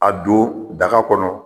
A don daga kɔnɔ